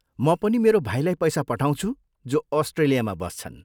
म पनि मेरो भाइलाई पैसा पठाउँछु जो अस्ट्रेलियामा बस्छन्।